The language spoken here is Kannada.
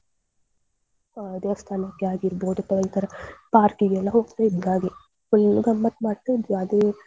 ಆ ದೇವಾಸ್ತನಕ್ಕೆ ಆಗಿರ್ಬಹುದು ತದನಂತರ park ಗೆಲ್ಲ ಹೋಗ್ತಾ ಇದ್ವಿ ಹಾಗೆ full ಗಮ್ಮತ್ ಮಾಡ್ತಾ ಇದ್ವಿ ಅದೇ.